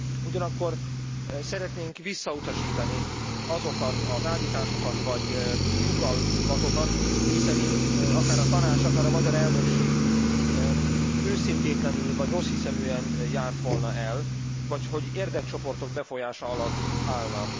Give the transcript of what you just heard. Ugyanakkor szeretnénk visszautasítani azokat az állításokat vagy sugallatokat, miszerint akár a Tanács, akár a magyar elnökség őszintétlenül vagy rosszhiszeműen járt volna el, vagy hogy érdekcsoportok befolyása alatt állna.